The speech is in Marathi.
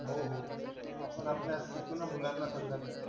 हो हो. आपण आपल्या शिकवू ना मुलांना सगळ्यांना.